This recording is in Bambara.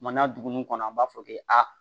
Maana dugu ninnu kɔnɔ an b'a fɔ k'e a